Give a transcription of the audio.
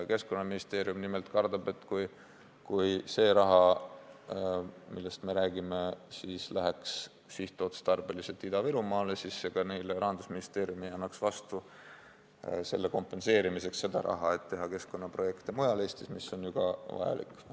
Keskkonnaministeerium nimelt kardab, et kui see raha, millest me räägime, läheks sihtotstarbeliselt Ida-Virumaale, siis ega Rahandusministeerium ei annaks neile selle kompenseerimiseks raha selle jaoks, et teha keskkonnaprojekte mujal Eestis, mis on ju ka vajalik.